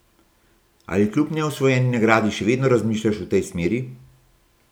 Ali kljub neosvojeni nagradi še vedno razmišljaš v tej smeri?